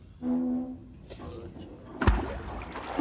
আচ্ছা, আছে,